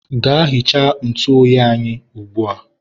gaa hichaa ntụ oyi anyị ugbua!